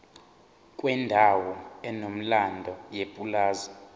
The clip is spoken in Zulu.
kwendawo enomlando yepulazi